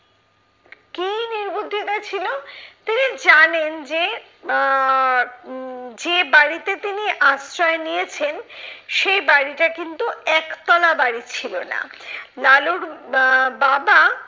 কি নির্বুদ্ধিতা ছিল? তিনি জানেন যে আহ উম যে বাড়িতে তিনি আশ্রয় নিয়েছেন, সেই বাড়িটা কিন্তু একতলা বাড়ি ছিল না। লালুর বা বাবা,